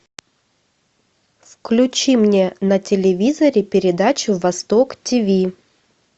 включи мне на телевизоре передачу восток тиви